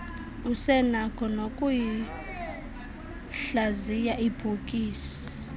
usenakho noyikuhlaziya ibhokisi